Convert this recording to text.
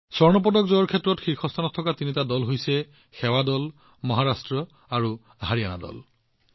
সোণৰ পদক জয়ৰ ক্ষেত্ৰত সন্মুখত থকা তিনিটা দল হৈছে সেৱা দল মহাৰাষ্ট্ৰ আৰু হাৰিয়ানা দল